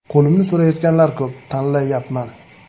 Qo‘limni so‘rayotganlar ko‘p, tanlayapman.